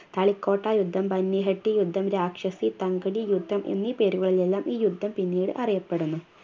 തളിക്കോട്ട യുദ്ധം ബന്യഹട്ട് യുദ്ധം രാക്ഷസി തൻകുലി യുദ്ധം എന്നീ പേരുകളിലെല്ലാം ഈ യുദ്ധം പിന്നീട് അറിയപ്പെടുന്നു